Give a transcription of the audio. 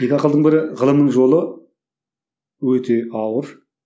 екі ақылдың бірі ғылымның жолы өте ауыр